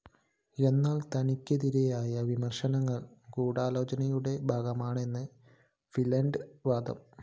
എന്നാല്‍ തനിക്കെതിരായ വിമര്‍ശനങ്ങള്‍ ഗൂഢാലോചനയുടെ ഭാഗമാണെന്നാണ് ഫില്ലന്റെ വാദം